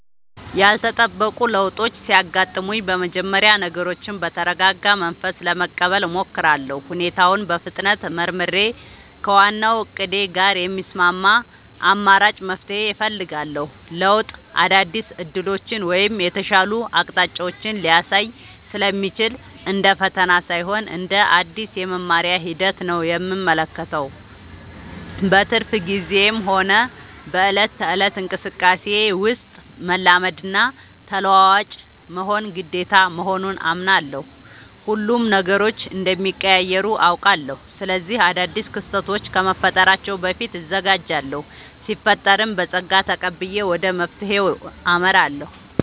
ያልተጠበቁ ለውጦች ሲያጋጥሙኝ በመጀመሪያ ነገሮችን በተረጋጋ መንፈስ ለመቀበል እሞክራለሁ። ሁኔታውን በፍጥነት መርምሬ፣ ከዋናው እቅዴ ጋር የሚስማማ አማራጭ መፍትሄ እፈልጋለሁ። ለውጥ አዳዲስ ዕድሎችን ወይም የተሻሉ አቅጣጫዎችን ሊያሳይ ስለሚችል፣ እንደ ፈተና ሳይሆን እንደ አዲስ የመማሪያ ሂደት ነው የምመለከተው። በትርፍ ጊዜዬም ሆነ በዕለት ተዕለት እንቅስቃሴዬ ውስጥ፣ መላመድና ተለዋዋጭ መሆን ግዴታ መሆኑን አምናለሁ። ሁሌም ነገሮች እንደሚቀያየሩ አውቃለሁ። ስለዚህ አዳዲስ ክስተቶች ከመፈጠራቸው በፊት እዘጋጃለሁ ሲፈጠርም በፀጋ ተቀብዬ ወደ መፍትሄው አመራለሁ።